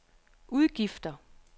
udgifter